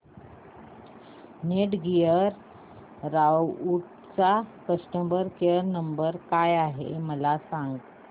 Netgear राउटरचा customer care number काय आहे मला सांग